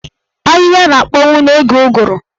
Ahịhịa na-akpọnwu n'oge ụgụrụ.